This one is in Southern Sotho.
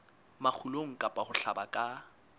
makgulong kapa ho hlaba ka